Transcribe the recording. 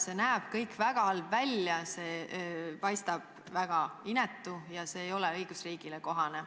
See näeb kõik väga halb välja, see paistab väga inetu ja see ei ole õigusriigile kohane.